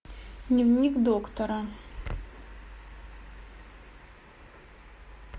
дневник доктора